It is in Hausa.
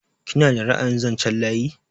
Kina da ra'ayin zanchen layi?